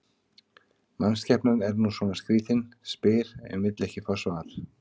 Mannskepnan er nú svona skrýtin, spyr en vill ekki fá svar.